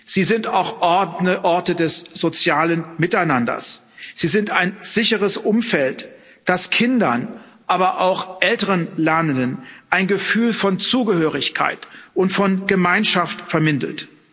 Sie sind auch Orte des sozialen Miteinanders, sie sind ein sicheres Umfeld, das Kindern, aber auch älteren Lernenden ein Gefühl von Zugehörigkeit und von Gemeinschaft vermittelt.